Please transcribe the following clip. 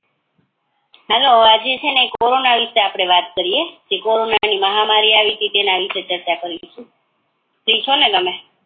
hello આજે છે ને આપડે કોરોના વિશે વાત કરીએ કે કોરોના ની મહામારી આવી હતી તેના વિશે ચર્ચા કરી ફ્રી છો ને તમે